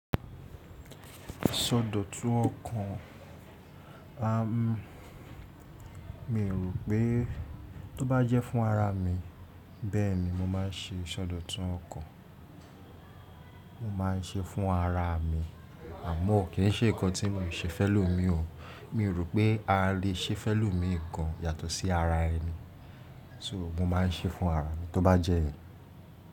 Ṣọdọ̀tun ọkàn, mi rò pé tó bá jẹ́ fún ara mi bẹ́ẹ̀ni mo máa ń ṣe ṣọdọ̀tun ọkàn. Mo máa ń ṣe fún ara mi àmọ́ kìn se nǹkan tí mo le ṣe fun e lò mi o. Mi ò rò pé a lè ṣe fẹ́ lò mi nǹkan yàtọ̀ sí ara ẹni. So mo máa ń ṣe fún ara mi tó bá jẹ́.